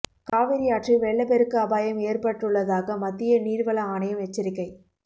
காவிரியாற்றில் வெள்ளப்பெருக்கு அபாயம் ஏற்பட்டுள்ளதாக மத்திய நீர்வள ஆணையம் எச்சரிக்கை